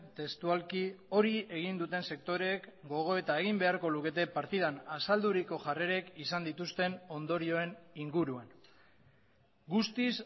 testualki hori egin duten sektoreek gogoeta egin beharko lukete partidan azalduriko jarrerek izan dituzten ondorioen inguruan guztiz